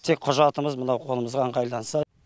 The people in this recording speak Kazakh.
тек құжатымыз мынау қолымызға ыңғайланса